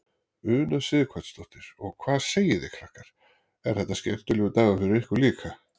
Una Sighvatsdóttir: Og hvað segið þið krakkar, er þetta skemmtilegur dagur fyrir ykkur líka?